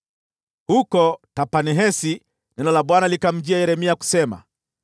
Huko Tahpanhesi neno la Bwana likamjia Yeremia kusema: